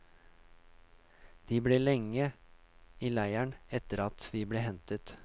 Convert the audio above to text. De ble lenge i leiren etter at vi ble hentet.